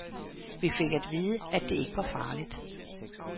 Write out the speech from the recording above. Vi fik at vide, at det ikke var farligt.